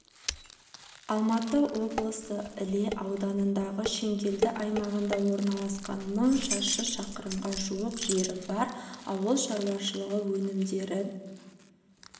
алматы облысы іле ауданындағы шеңгелді аймағында орналасқан мың шаршы шақырымға жуық жері бар ауыл шаруашылы өнімдерін